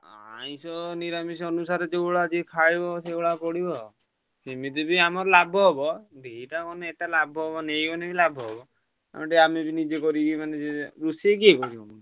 ଆଇଂଷ ନିରାମିଷ ଅନୁସାରେ ଯୋଉ ଭଳିଆ ଯିଏ ଖଇବ ସେଇଭଳିଆ ପଡିବ ଆଉ। ଏମିତି ବି ଆମର ଲାଭ ହବ ଏଇଟା ଏଇଟା ଲାଭ ହବ ନେଇଗଲେ ବି ଲାଭ ହବ। ଓଲଟି ଆମେ ବି ନିଜେ କରିକି ମାନେ ନିଜେ ରୋଷେଇ କିଏ କରିବ?